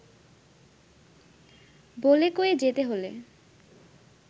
বলে-কয়ে যেতে হলে